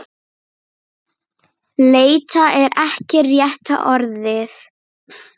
Leita er ekki rétta orðið.